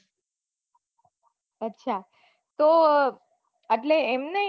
અચ્છા તો આટલે એમ ની